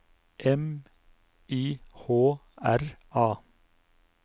M Y H R A